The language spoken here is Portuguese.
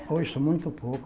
Eu ouço muito pouco.